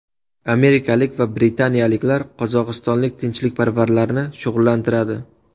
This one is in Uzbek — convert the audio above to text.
Amerikalik va britaniyaliklar qozog‘istonlik tinchlikparvarlarni shug‘ullantiradi.